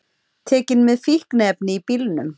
Tekin með fíkniefni í bílnum